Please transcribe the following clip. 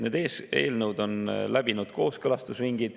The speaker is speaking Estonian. Need eelnõud on läbinud kooskõlastusringid.